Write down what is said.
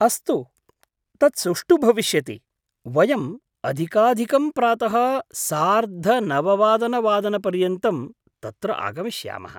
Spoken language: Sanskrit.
अस्तु, तत् सुष्ठु भविष्यति, वयम् अधिकाधिकं प्रातः सार्धनववादनवादनपर्यन्तं तत्र आगमिष्यामः।